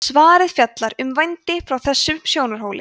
svarið fjallar um vændi frá þessum sjónarhóli